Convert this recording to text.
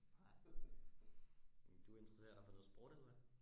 Nej men du interesserer dig for noget sport eller hva?